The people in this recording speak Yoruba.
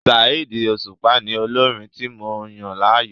Saheed Osupa ni olórin tí mo yàn láàyò.